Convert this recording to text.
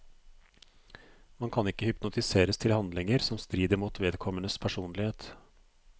Man kan ikke hypnotiseres til handlinger som strider mot vedkommendes personlighet.